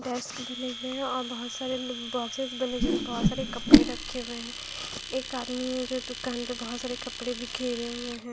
Desk बने हुए हैं और बोहोत सारे बॉक्सेस बने है जिसमें बोहोत सारे कपड़े रखे हुए हैं एक आदमी है जो दुकान पे बोहोत सारे कपड़े बिखेरे हुए हैं।